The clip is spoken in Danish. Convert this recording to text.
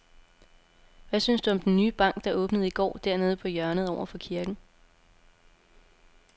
Hvad synes du om den nye bank, der åbnede i går dernede på hjørnet over for kirken?